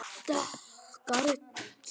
Dökka rödd.